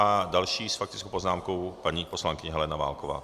A další s faktickou poznámkou paní poslankyně Helena Válková.